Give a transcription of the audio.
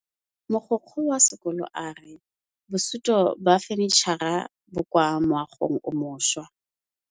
Mogokgo wa sekolo a re bosutô ba fanitšhara bo kwa moagong o mošwa.